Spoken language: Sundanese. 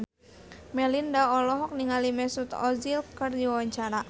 Melinda olohok ningali Mesut Ozil keur diwawancara